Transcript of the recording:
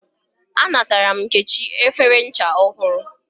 A natara m Nkechi efere ncha ohuru